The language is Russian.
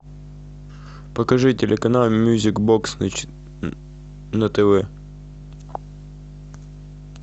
покажи телеканал мьюзик бокс на тв